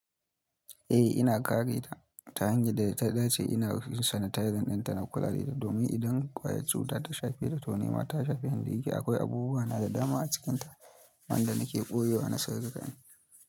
Eh ina kare ta ta hanyar da ta dace. Ina yij sanitizing ɗin ta na kula da ita domin idan ƙwayar cuta ta shafe ta, toh nema ta shafi ni. Da yake akwai abubuwa na da dama a cikin ta wanda nake ɓoyewa na sirrika na.